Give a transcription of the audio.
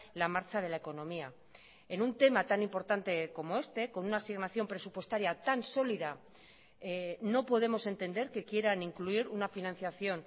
la marcha de la economía en un tema tan importante como este con una asignación presupuestaria tan sólida no podemos entender que quieran incluir una financiación